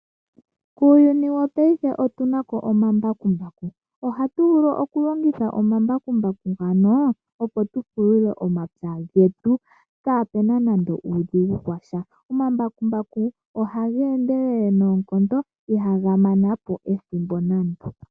Uuyuni wapaife otuna ko omambakumbaku. Ohatu vulu oku longitha ombakumbaku ngano opo tu pulule omapya getu kaapuna nande uudhigu washa. Omambakumbaku ohage indelele noonkondo, ihaga mana po ethimbo nando.